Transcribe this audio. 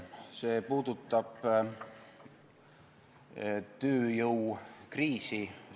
See puudutab tööjõukriisi.